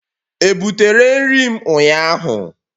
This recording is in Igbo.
Ebutere nri m ụnyahụ?